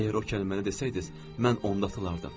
Əgər o kəlməni desəydiz, mən onda atılardım.